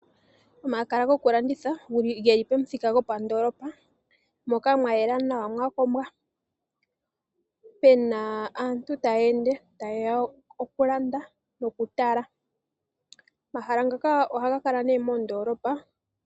Omahala go kalanditha geli pomuthika go pandoolopa moka mwa yela nawa mwa kombwa, Pena aantu taya ende ta yeya okulanda noku tala. Omahala ngoka ohaga kala nee moondolopa.